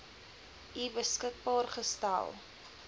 u beskikbaar gestel